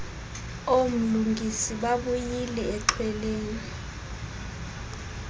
oomlungisi babuyile exhweleni